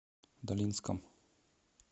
долинском